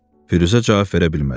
Firuzə cavab verə bilmədi.